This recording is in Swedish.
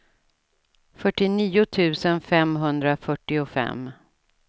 fyrtionio tusen femhundrafyrtiofem